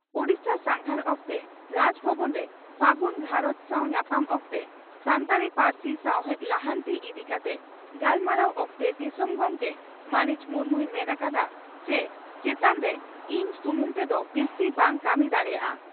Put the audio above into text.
ᱳᱰᱤᱥᱟ ᱥᱟᱸᱜᱷᱟᱨ ᱚᱠᱛᱮ ᱨᱟᱡᱽ ᱵᱷᱚᱵᱚᱱ ᱨᱮ ᱯᱷᱟᱹᱜᱩᱱ ᱜᱷᱟᱨᱚᱸᱡᱽ ᱥᱟᱣ ᱧᱟᱯᱟᱢ ᱚᱠᱛᱮ ᱥᱟᱱᱛᱟᱲᱤ ᱯᱟᱹᱨᱥᱤ ᱥᱟᱶᱦᱮᱫ ᱞᱟᱦᱟᱱᱛᱤ ᱤᱫᱤ ᱠᱟᱛᱮ ᱜᱟᱞᱢᱟᱨᱟᱣ ᱚᱠᱛᱮ ᱫᱤᱥᱚᱢ ᱜᱚᱢᱠᱮ ᱢᱟᱹᱱᱤᱡ ᱢᱩᱨᱢᱩᱭ ᱢᱮᱱ ᱟᱠᱟᱫᱼᱟ ᱪᱤ "ᱪᱮᱛᱟᱱ ᱨᱮ ᱤᱧ ᱥᱩᱢᱩᱝ ᱛᱮᱫᱚ ᱵᱤᱥᱛᱤ ᱵᱟᱝ ᱠᱟᱹᱢᱤ ᱫᱟᱲᱮᱭᱟᱜᱼᱟ